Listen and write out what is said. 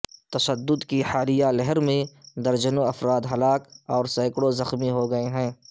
تشدد کی حالیہ لہر میں درجنوں افراد ہلاک اور سینکڑوں زخمی ہو گئے ہیں